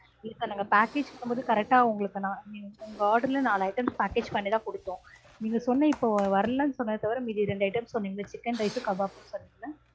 இப்ப நாங்க package பண்ணும்போது correct ஆ உங்களுக்கு நான் உங்க order ல நாலு items package பண்ணிதான் கொடுத்தோம். நீங்க சொன்ன இப்போ வரலனு சொன்னது தவிர மீதி ரெண்டு items சொன்னீங்க இல்ல chicken rice உம் kebab உம் சொன்னீங்க இல்ல?